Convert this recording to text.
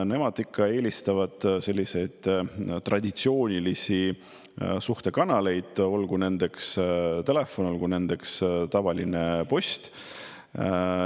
Nemad eelistavad traditsioonilisi suhtluskanaleid, olgu nendeks telefon või tavaline post.